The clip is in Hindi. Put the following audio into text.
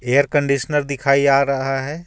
एयर कंडीशनर दिखाई आ रहा है.